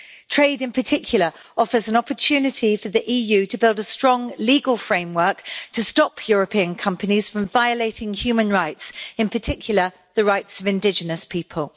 Trade, in particular, offers an opportunity for the EU to build a strong legal framework to stop European companies from violating human rights, in particular the rights of indigenous people.